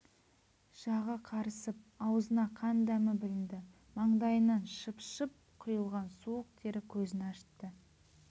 жағы қарысып аузына қан дәмі білінді маңдайынан шыпшып құйылған суық тері көзін ашытты